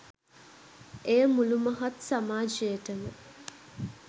එය මුළු මහත් සමාජයටම